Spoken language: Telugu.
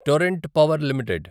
Torrent Power limited